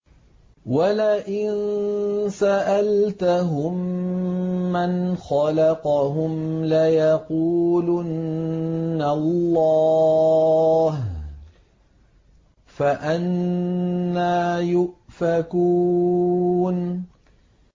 وَلَئِن سَأَلْتَهُم مَّنْ خَلَقَهُمْ لَيَقُولُنَّ اللَّهُ ۖ فَأَنَّىٰ يُؤْفَكُونَ